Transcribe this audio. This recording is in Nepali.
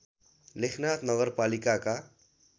लेखनाथ नगरपालिकाका